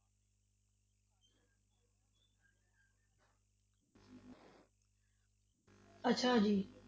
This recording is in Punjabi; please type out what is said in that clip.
ਅੱਛਾ ਜੀ